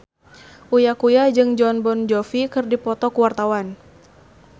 Uya Kuya jeung Jon Bon Jovi keur dipoto ku wartawan